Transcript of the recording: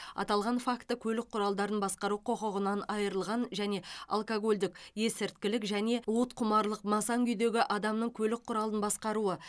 аталған факті көлік құралдарын басқару құқығынан айырылған және алкогольдік есірткілік және уытқұмарлық масаң күйдегі адамның көлік құралын басқаруы